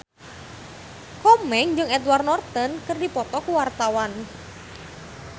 Komeng jeung Edward Norton keur dipoto ku wartawan